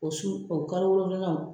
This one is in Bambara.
O su o kalo wolonfilanan